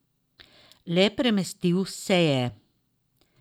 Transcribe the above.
Le premestil se je.